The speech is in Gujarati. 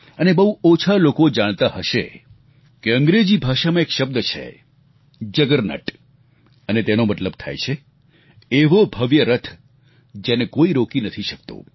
અને બહુ ઓછા લોકો જાણતા હશે કે અંગ્રેજી ભાષામાં એક શબ્દ છે જગરનટ જગરનોટ અને તેનો મતલબ થાય છે એવો ભવ્ય રથ જેને કોઈ રોકી નથી શકતું